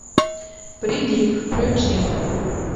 прилив включи